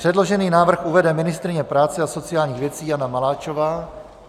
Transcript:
Předložený návrh uvede ministryně práce a sociálních věci Jana Maláčová.